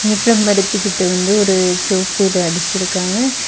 வேப்ப மரத்து கிட்ட வந்து ஒரு சோப்பு ஏதோ அடிச்சிருக்காங்க.